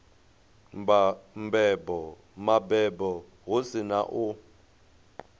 mabebo hu si na u